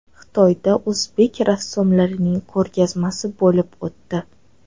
Xitoyda o‘zbek rassomlarining ko‘rgazmasi bo‘lib o‘tdi.